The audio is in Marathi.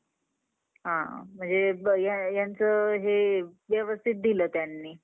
मलापण cricket मध्ये खूप नामकम नामकमवायचं आहे, त्याचामुळे मी दररोज सकाळी लवकर उठून अभ्यास